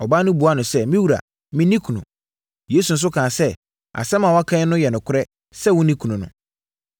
Ɔbaa no buaa no sɛ, “Me wura, menni kunu.” Yesu nso kaa sɛ, “Asɛm a woaka no yɛ nokorɛ sɛ wonni kunu no.